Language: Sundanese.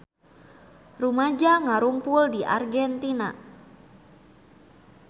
Rumaja ngarumpul di Argentina